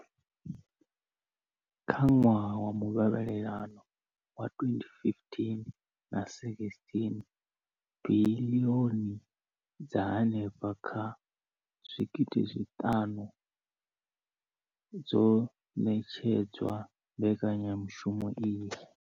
Kha ṅwaha wa muvhalelano wa 2015,16, biḽioni dza henefha kha R5 703 dzo ṋetshedzwa mbekanyamushumo iyi.